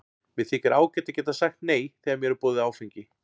Mér þykir ágætt að geta sagt nei þegar mér er boðið áfengi.